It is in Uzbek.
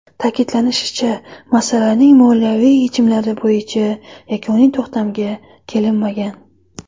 Ta’kidlanishicha, masalaning moliyaviy yechimlari bo‘yicha yakuniy to‘xtamga kelinmagan.